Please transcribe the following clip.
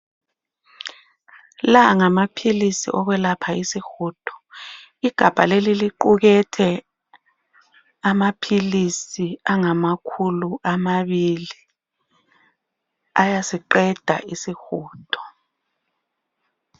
La ngamaphilisi okwelapha isihudo. Igabha leli liqukethe amaphilisi angamakhulu amabili, ayasiqeda isihudo.